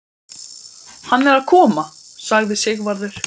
Hann er að koma, sagði Sigvarður.